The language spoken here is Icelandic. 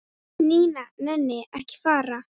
Nína nenni ekki að fara.